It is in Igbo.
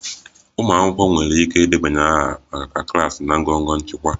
Umụ akwụkwọ nwere ike ịdebanye aha maka klaasị na ngọngọ nchịkwa